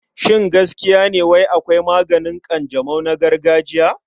Shin gaskiya ne wai akwai maganin ƙanjamau na gargajiya?